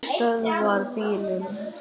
Hann stöðvar bílinn.